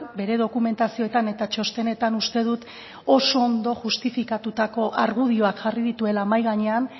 bere dokumentazioetan eta txostenetan uste dut oso ondo justifikatutako argudioak jarri dituela mahai gainean